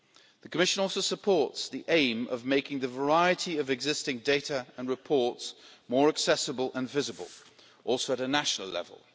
The Commission also supports the aim of making the variety of existing data and reports more accessible and visible including a national level.